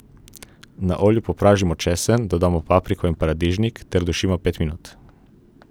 Na olju popražimo česen, dodamo papriko in paradižnik ter dušimo pet minut.